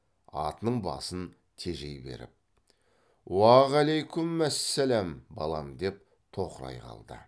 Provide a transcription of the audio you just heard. атының басын тежей беріп уағалайкүммәссәләм балам деп тоқырай қалды